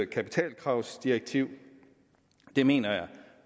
kapitalkravsdirektiv det mener jeg